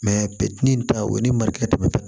bɛ di nin ta o ye ni mariya tɛ